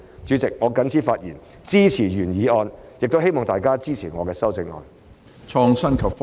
主席，我謹此發言，支持原議案，亦希望大家支持我的修正案。